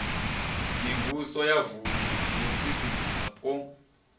mivhuso ya mavuṋdu dziofisi dzapo